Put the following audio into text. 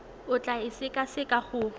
o tla e sekaseka go